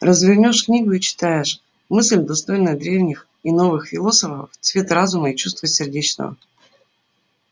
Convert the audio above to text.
развернёшь книгу и читаешь мысль достойная древних и новых философов цвет разума и чувства сердечного